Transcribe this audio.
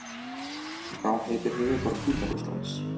Hvað heitir höfuðborg Hvíta Rússlands?